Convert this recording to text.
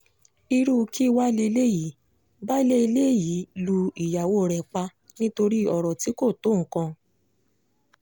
irú kí wàá lélẹ́yìí baálé ilé yìí lu ìyàwó rẹ pa nítorí ọ̀rọ̀ tí kò tó nǹkan